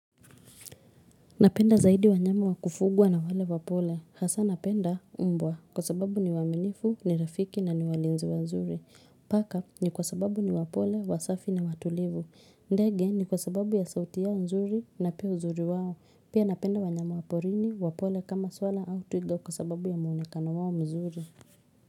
Napenda zaidi wanyama wakufugwa na wale wapole. Hasa napenda mbwa kwa sababu ni waaminifu, ni rafiki na ni walinzi wanzuri. Paka ni kwa sababu ni wapole, wasafi na watulivu. Ndege ni kwa sababu ya sauti yao nzuri na pia uzuri wao. Pia napenda wanyama wa porini, wapole kama swala au twiga kwa sababu ya muonekana wao mzuri.